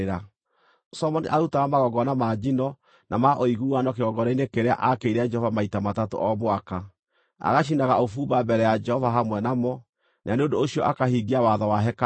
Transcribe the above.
Solomoni aarutaga magongona ma njino na ma ũiguano kĩgongona-inĩ kĩrĩa aakĩire Jehova maita matatũ o mwaka, agacinaga ũbumba mbere ya Jehova hamwe namo, na nĩ ũndũ ũcio akahingia watho wa hekarũ.